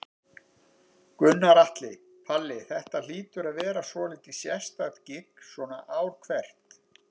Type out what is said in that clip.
Gunnar Atli: Palli, þetta hlýtur að vera svolítið sérstakt gigg svona ár hvert?